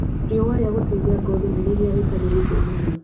Rĩũa ria gũteithia ngothi nĩ rĩrĩa rĩtarĩ rĩhiũ mũno